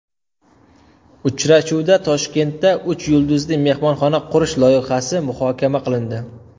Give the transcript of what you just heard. Uchrashuvda Toshkentda uch yulduzli mehmonxona qurish loyihasi muhokama qilindi.